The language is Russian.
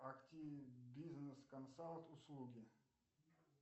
актибизнес консалт услуги